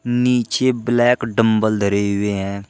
नीचे black dumbbell धरे हुए हैं।